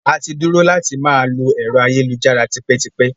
Àti dúró láti máa lò ẹ̀rọ ayélujára tipẹ́tipẹ́.